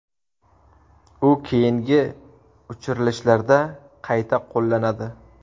U keyingi uchirilishlarda qayta qo‘llanadi.